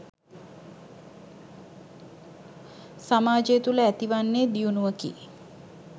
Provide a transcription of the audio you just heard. සමාජය තුළ ඇතිවන්නේ දියුණුවකි.